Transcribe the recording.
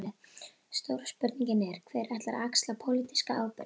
Stóra spurningin er: Hver ætlar að axla pólitíska ábyrgð?